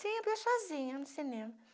Sempre eu sozinha no cinema.